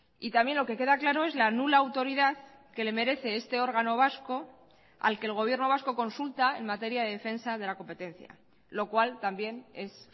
y también lo que queda claro es la nula autoridad que le merece este órgano vasco al que el gobierno vasco consulta en materia de defensa de la competencia lo cual también es